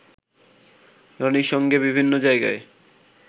রনির সঙ্গে বিভিন্ন জায়গায়